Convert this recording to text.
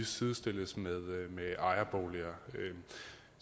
sidestilles med med ejerboliger